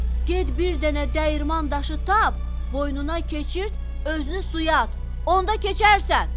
Get bir dənə dəyirman daşı tap, boynuna keçirt, özünü suya at, onda keçərsən.